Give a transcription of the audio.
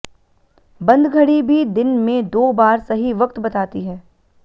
बंद घड़ी भी दिन में दो बार सही वक्त बताती है